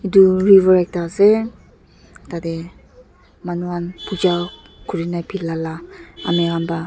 edu river ekta ase tatae manu khan pooja kurina philala amikan pa--